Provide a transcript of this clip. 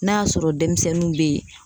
N'a y'a sɔrɔ denmisɛnninw bɛ yen